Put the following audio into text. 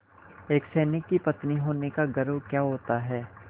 एक सैनिक की पत्नी होने का गौरव क्या होता है